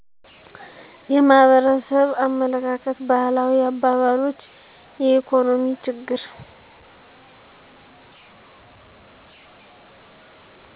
የማህበረሰብ አመለካከት ባህላዊ አባባሎች የኢኮኖሚ ችግር